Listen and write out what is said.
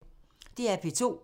DR P2